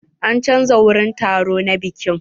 An chanza wurin taro na bikin.